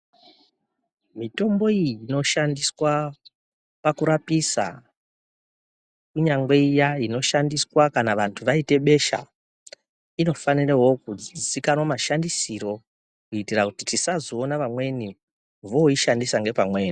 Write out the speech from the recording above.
Mitombo iyi inoshandiswa pakurapisa kunyangwe iya inoshandiswa kana vanhu vaita besa, inofanirawo kuzikanwa mashandisiro kuti tisazoona vamweni voishandisa ngepamweni.